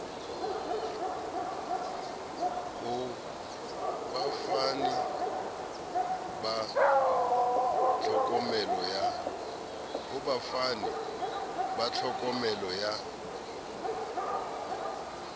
ho bafani ba tlhokomelo ya